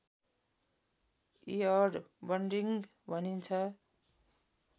eared bunting भनिन्छ